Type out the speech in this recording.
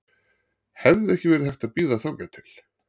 Hefði ekki verið hægt að bíða þangað til?